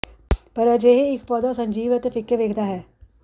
ਪਰ ਅਜਿਹੇ ਇੱਕ ਪੌਦਾ ਸੰਜੀਵ ਅਤੇ ਫ਼ਿੱਕੇ ਵੇਖਦਾ ਹੈ